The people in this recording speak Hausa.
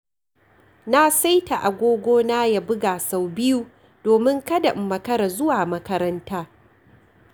Na saita agogona ya buga sau biyu domin kada in makara zuwa makaranta.